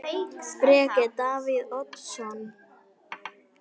Breki: Davíð Oddsson?